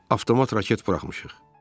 Avtomat raket buraxmışıq.